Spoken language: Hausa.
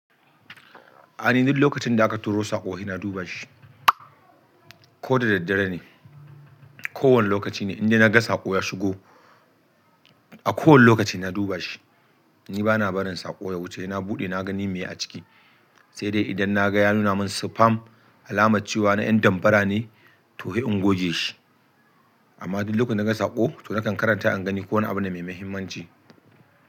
Ai, ni duk lokacin da aka turo saƙo he na duba shi. Ko da daddare ne, kowane lokaci ne, indai na ga saƙo ya shigo, a kowane lokaci sai na duba shi. Ni bana barin sako ya wuce, he na bude nagani mene aciki sai dai idan na ga ya nuna min spam alamar cewa na ƴan dambara ne, to he in goge shi. Amma duk lokacin da na ga saƙo, to na kan karanta in gani ko wani abu ne mai mahimmanci.